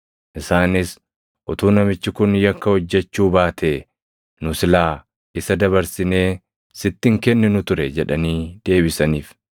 Isaanis, “Utuu namichi kun yakka hojjechuu baatee nu silaa isa dabarsinee sitti hin kenninu ture” jedhanii deebisaniif.